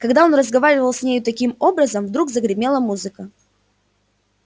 когда он разговаривал с нею таким образом вдруг загремела музыка